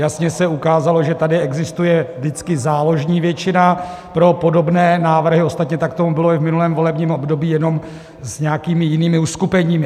Jasně se ukázalo, že tady existuje vždycky záložní většina pro podobné návrhy, ostatně tak tomu bylo i v minulém volebním období, jenom s nějakými jinými uskupeními.